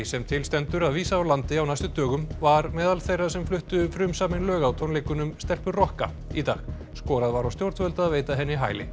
sem til stendur að vísa úr landi á næstu dögum var meðal þeirra sem fluttu frumsamin lög á tónleikunum stelpur rokka í dag skorað var á stjórnvöld að veita henni hæli